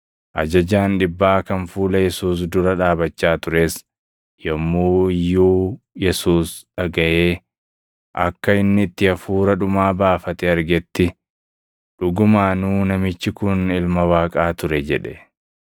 Ajajaan dhibbaa kan fuula Yesuus dura dhaabachaa tures yommuu iyyuu Yesuus dhagaʼee akka inni itti hafuura dhumaa baafate argetti, “Dhugumaanuu namichi kun Ilma Waaqaa ture!” jedhe.